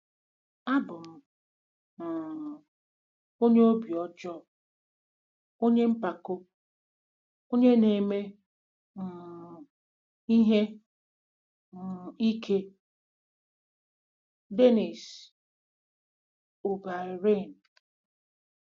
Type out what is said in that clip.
“Abụ m um onye obi ọjọọ, onye mpako, onye na-eme um ihe um ike.” - DENNIS O’BEIRNE